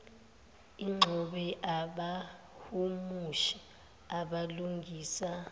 ixube abahumushi abalungisa